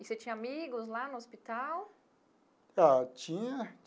E você tinha amigos lá no hospital? Ah tinha.